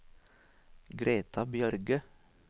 Greta Bjørge